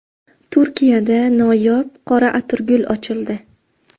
Turkiyada noyob qora atirgul ochildi .